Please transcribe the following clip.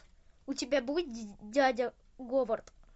у тебя будет дядя говард